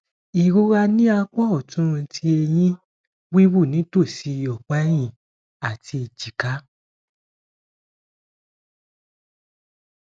irora ni apa ọtun ti ẹhin wiwu nitosi ọpa ẹhin ati ejika